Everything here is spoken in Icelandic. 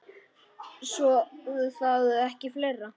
Svo var það ekki fleira.